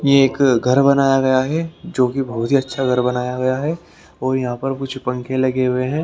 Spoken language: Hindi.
ये एक घर बनाया गया है जो बहोत ही अच्छा घर बनाया गया है और यहाँ पर कुछ पंखे लगे हुए हैं।